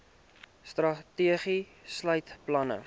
strategie sluit planne